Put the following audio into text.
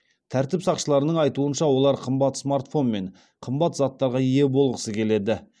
тәртіп сақшыларының айтуынша олар қымбат смартфон мен қымбат заттарға ие болғысы келеді